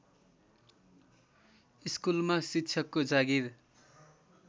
स्कुलमा शिक्षकको जागिर